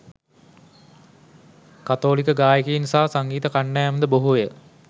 කතෝලික ගායකයින් සහ සංගීත කණ්ඩායම්ද බොහෝය.